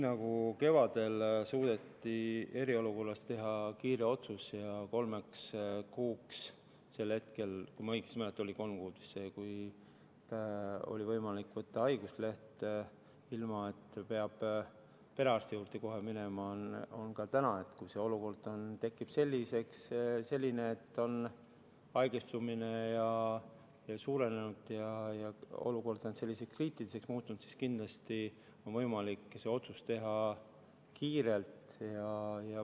Nagu kevadel suudeti eriolukorras teha kiire otsus ja kolm kuud – kui ma õigesti mäletan, siis see oli kolm kuud – oli võimalik võtta haiguslehte, ilma et oleks pidanud kohe perearsti juurde minema, nii on ka täna: kui haigestumine suureneb ja olukord muutub kriitiliseks, siis on kindlasti võimalik see otsus kiirelt teha.